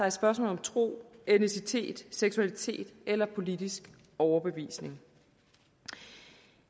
et spørgsmål om tro etnicitet seksualitet eller politisk overbevisning